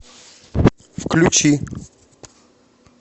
включи